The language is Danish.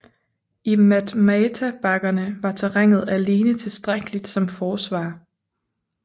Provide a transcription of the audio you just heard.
I Matmata bakkerne var terrænet alene tilstrækkeligt som forsvar